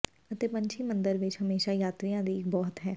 ਅਤੇ ਪੰਛੀ ਮੰਦਰ ਵਿੱਚ ਹਮੇਸ਼ਾ ਯਾਤਰੀਆ ਦੀ ਇੱਕ ਬਹੁਤ ਹੈ